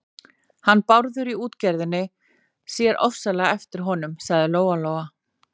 Hann Bárður í útgerðinni sér ofsalega eftir honum, sagði Lóa-Lóa.